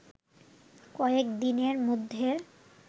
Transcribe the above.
কয়েক দিনের মধ্যে